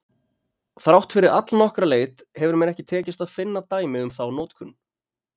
Þrátt fyrir allnokkra leit hefur mér ekki tekist að finna dæmi um þá notkun.